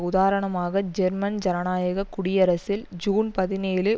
உதாரணமாக ஜெர்மன் ஜனநாயக குடியரசில் ஜூன் பதினேழு